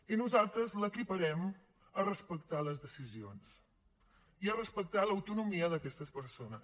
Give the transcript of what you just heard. i nosaltres l’equiparem a respectar les decisions i a respectar l’autonomia d’aquestes persones